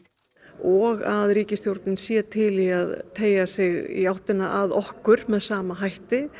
og að ríkisstjórnin sé til í að teygja sig í áttina að okkur með sama hætti